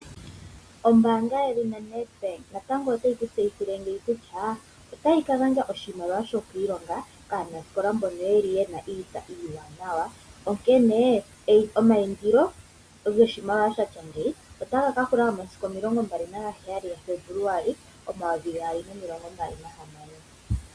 Ombaanga yedhina NedBank natango otayi kutseyithile ngeyi kutya, otayi ka gandja oshimaliwa shokwiilonga kaanasikola mbono yeli ye na iitsa iiwanawa. Onkene omayindilo goshimaliwa shatya ngeyi, otaga ka hula momasiku omilongo mbali nagaheyali ga Febuluwali momayovi gaali nomilongo mbali nahamano.